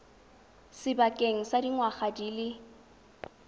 sebakeng sa dingwaga di le